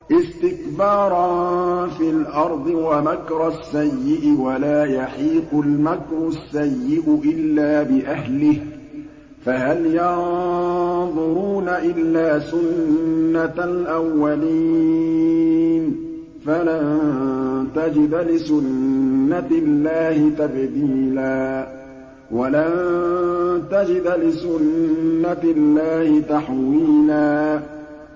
اسْتِكْبَارًا فِي الْأَرْضِ وَمَكْرَ السَّيِّئِ ۚ وَلَا يَحِيقُ الْمَكْرُ السَّيِّئُ إِلَّا بِأَهْلِهِ ۚ فَهَلْ يَنظُرُونَ إِلَّا سُنَّتَ الْأَوَّلِينَ ۚ فَلَن تَجِدَ لِسُنَّتِ اللَّهِ تَبْدِيلًا ۖ وَلَن تَجِدَ لِسُنَّتِ اللَّهِ تَحْوِيلًا